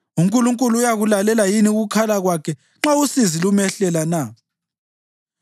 UNkulunkulu uyakulalela yini ukukhala kwakhe nxa usizi lumehlela na?